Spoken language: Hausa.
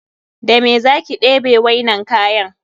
Da mene za ki debe wainnan kayan?